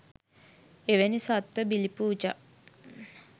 එවැනි සත්ත්ව බිලි පූජා